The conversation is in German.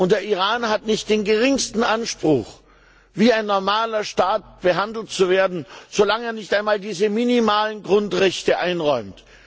Und der Iran hat nicht den geringsten Anspruch, wie ein normaler Staat behandelt zu werden, solange er nicht einmal diese minimalen Grundrechte einräumt.